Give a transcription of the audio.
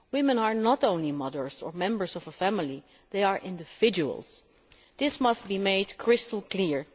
Women are not only mothers or members of a family, they are individuals. This must be made crystal